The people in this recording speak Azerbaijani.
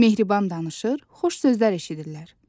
Mehriban danışır, xoş sözlər eşidirlər.